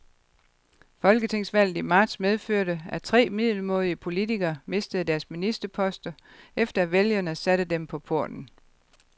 Folketingsvalget i marts medførte, at tre middelmådige politikere mistede deres ministerposter, efter at vælgerne satte dem på porten.